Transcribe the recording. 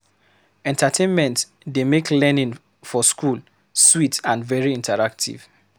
Entertainment dey make learning for school sweet and very interactive